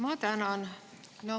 Ma tänan!